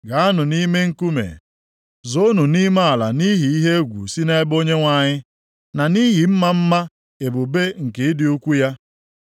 Gaanụ nʼime nkume, zoonụ nʼime ala nʼihi ihe egwu si nʼebe Onyenwe anyị, na nʼihi ịma mma ebube nke ịdị ukwuu ya.